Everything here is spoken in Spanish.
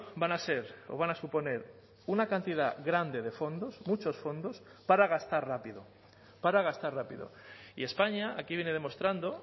van a ser o van a suponer una cantidad grande de fondos muchos fondos para gastar rápido para gastar rápido y españa aquí viene demostrando